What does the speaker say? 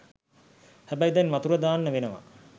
හැබැයි දැන් වතුර දාන්න වෙනවා